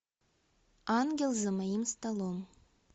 ангел за моим столом